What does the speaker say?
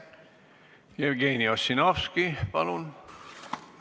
Jevgeni Ossinovski, palun!